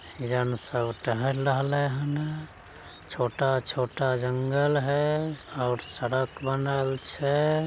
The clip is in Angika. हिरण सब टहल रहले हनअ छोटा-छोटा जंगल है और सड़क बनल छे।